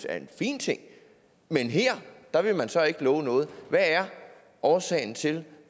er en fin ting men her vil man så ikke love noget hvad er årsagen til